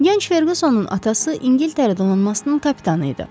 Gənc Ferqusonun atası İngiltərə donanmasının kapitanı idi.